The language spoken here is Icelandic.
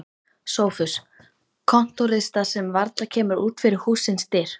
SOPHUS: Kontórista sem varla kemur út fyrir hússins dyr.